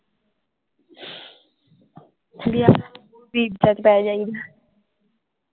ਵਧੀਆ